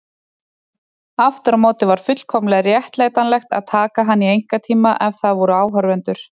Aftur á móti var fullkomlega réttlætanlegt að taka hana í einkatíma ef það voru áhorfendur.